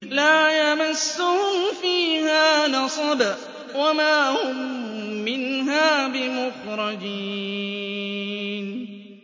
لَا يَمَسُّهُمْ فِيهَا نَصَبٌ وَمَا هُم مِّنْهَا بِمُخْرَجِينَ